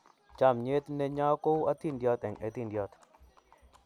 Chamiet nenyo ko u atindeiot eng' atindeiot